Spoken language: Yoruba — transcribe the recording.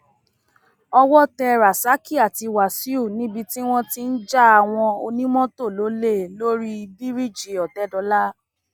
owó tẹ rasaki àti wàsíù níbi tí wọn ti ń ja àwọn onímọtò lólè lórí bíríìjì òtẹdọlà